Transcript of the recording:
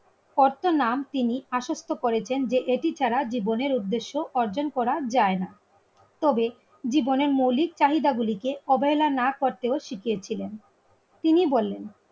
কতো নাম তিনি আশ্বস্ত করেছেন যে এটি ছাড়া জীবনের উদ্দেশ্য অর্জন করা যায় না. তবে জীবনের মৌলিক চাহিদাগুলিকে অবহেলা না করতেও শিখিয়ে ছিলেন তিনি বললেন